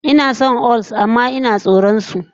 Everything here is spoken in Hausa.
Inason amma inajin tsoron su